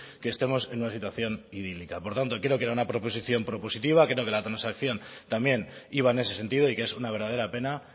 que estemos en una situación idílica por tanto creo que era una proposición propositiva creo que la transacción también iba en ese sentido y que es una verdadera pena